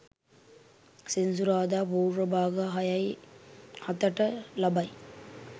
සෙනසුරාදා පූර්ව භාග 06.07 ට ලබයි.